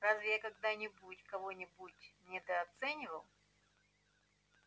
разве я когда-нибудь кого-нибудь недооценивал